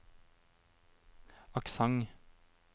aksent